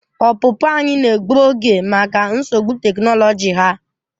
Ọpụpụ anyị na-egbu oge maka nsogbu teknoloji ha.